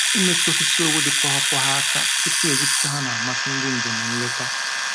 Imetụ osisi owu dị poghopogho aka tupu e gwupụta ha na-amasị ndị njem nleta